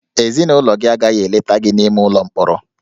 Ezinụlọ gị agaghị eleta gị n'ime ụlọ mkpọrọ